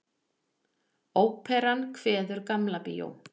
Óperan kveður Gamla bíó